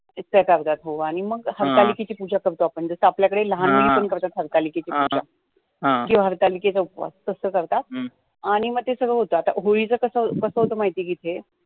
मग हरतालिकेची पूजा करतो आपण जसं आपल्या कडे लहान मुली पण करतात हरतालिकेची पूजा किंवा हरतालिकेचा उपवास करतात आणी मग ते सग्ळं होतं आता होळीचं कसं होतं माहिती का येथे